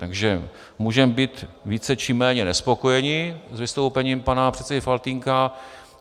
Takže můžeme být více či méně nespokojeni s vystoupením pana předsedy Faltýnka.